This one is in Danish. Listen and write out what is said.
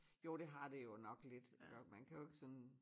Jo det har det jo nok lidt man kan jo ikke sådan